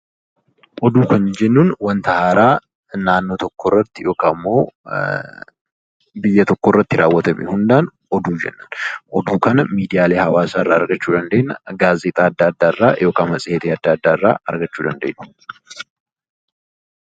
Oduu kan nuti jennu wanta haaraa naannoo tokko irratti yookiin immoo biyya tokko irratti raawwatame oduu jenna. Oduu kana miidiyaalee hawwaasaa irraa argachuuu dandeenya. Gaazexaa addaa addaa fi matseetii addaa addaa irraa argachuu dandeeenya.